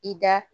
I da